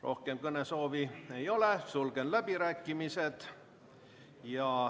Rohkem kõnesoove ei ole, sulgen läbirääkimised.